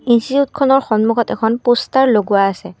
ইনষ্টিটিউটখনৰ সন্মুখত এখন প'ষ্টাৰ লগোৱা আছে।